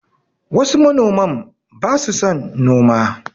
Wasu manoman ba su son noma